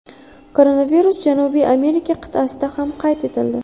Koronavirus Janubiy Amerika qit’asida ham qayd etildi.